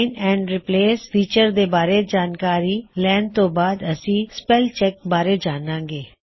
find and replace feature ਦੇ ਬਾਰੇ ਜਾਣਕਾਰੀ ਲੈਂਣ ਤੋ ਬਾਅਦ ਅਸੀ ਸਪੈੱਲ ਚੈੱਕ ਬਾਰੇ ਜਾਨਾਂਗੇ